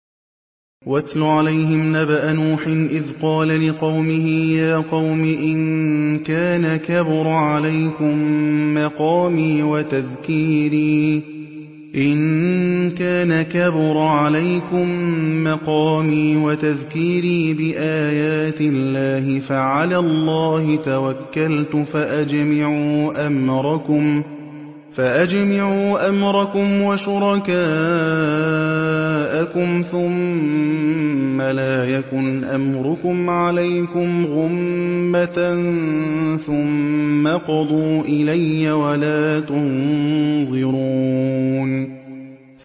۞ وَاتْلُ عَلَيْهِمْ نَبَأَ نُوحٍ إِذْ قَالَ لِقَوْمِهِ يَا قَوْمِ إِن كَانَ كَبُرَ عَلَيْكُم مَّقَامِي وَتَذْكِيرِي بِآيَاتِ اللَّهِ فَعَلَى اللَّهِ تَوَكَّلْتُ فَأَجْمِعُوا أَمْرَكُمْ وَشُرَكَاءَكُمْ ثُمَّ لَا يَكُنْ أَمْرُكُمْ عَلَيْكُمْ غُمَّةً ثُمَّ اقْضُوا إِلَيَّ وَلَا تُنظِرُونِ